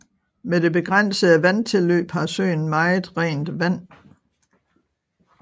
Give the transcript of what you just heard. Med det begrænsede vandtilløb har søen meget rent vand